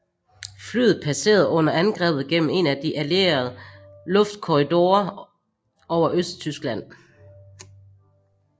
Flyet passerede under angrebet igennem en af de Alliede luftkorridorer over Østtyskland